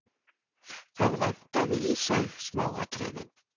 Það vantaði í þau smáatriðin.